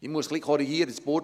Ich muss etwas korrigieren.